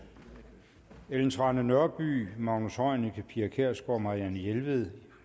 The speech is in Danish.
ellen trane nørby magnus heunicke pia kjærsgaard marianne jelved